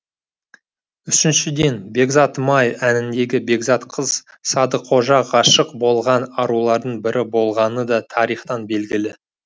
үшіншіден бекзатым ай әніндегі бекзат қыз садықожа ғашық болған арулардың бірі болғаны да тарихтан белгілі